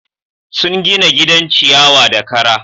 Sun gina gidan ciyawa da kara.